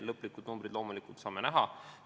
Loomulikult saame seda näha lõplikest numbritest.